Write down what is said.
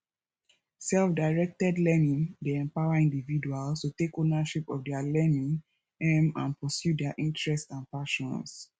selfdirected learning dey empower individuals to take ownership of dia learning um and pursue dia interest and passions